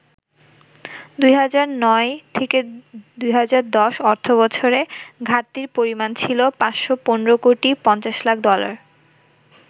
২০০৯-১০ অর্থবছরে ঘাটতির পরিমাণ ছিল ৫১৫ কোটি ৫০ লাখ ডলার।